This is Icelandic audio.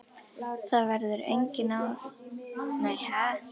Það verður enginn héraðsbrestur þótt aldraður einstæðingur sofni burt.